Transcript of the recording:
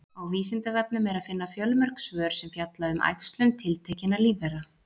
Á Vísindavefnum er að finna fjölmörg svör sem fjalla um æxlun tiltekinna lífvera.